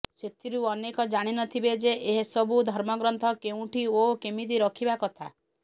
ସେଥିରୁ ଅନେକ ଜାଣିନଥିବେ ଯେ ଏସବୁ ଧର୍ମ ଗ୍ରନ୍ଥ କେଉଁଠି ଓ କେମିତି ରଖିବା କଥା